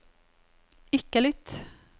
ikke lytt